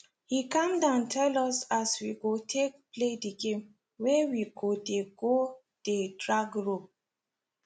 he calm down tell us as we go take play the game wey we go dey go dey drag rope